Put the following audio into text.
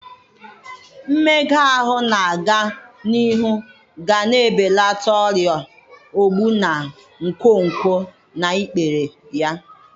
Mmega ahụ na-aga n'ihu ga-ebelata ọrịa ogbu na nkwonkwo na ikpere ya